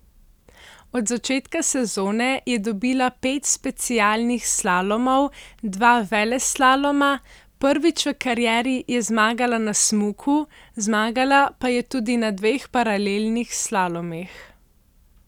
Od začetka sezone je dobila pet specialnih slalomov, dva veleslaloma, prvič v karieri je zmagala na smuku, zmagala pa je tudi na dveh paralelnih slalomih.